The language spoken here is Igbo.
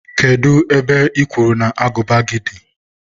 kedụ ebe I kwuru na agụba gị dị?